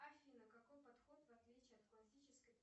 афина какой подход в отличие от классической